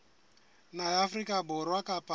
naha ya afrika borwa kapa